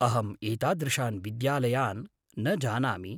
अहम् एतादृशान् विद्यालयान् न जानामि।